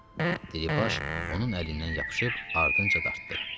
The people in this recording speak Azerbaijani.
Diribaş onun əlindən yapışıb ardınca dartdı.